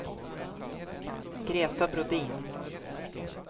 Greta Brodin